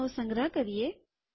તેનો સંગ્રહ કરીએ